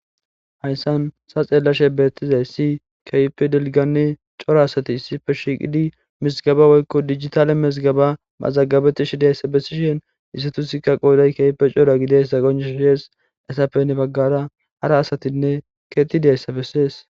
hayssan sa xeellashe beettizay si kaype delganni cora asati issife shiiqidi mizgaba woykko digitale mazgaba mazagabetishidiayssa bessishen isatusikka qooday kewpe cora gideys saqonesh shees esapenne baggara hara asatinne keetidayssa bessees